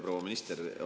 Proua minister!